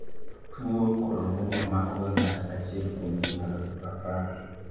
tuwo coloboma makoga ng'ato achiel kuom ji aluf apar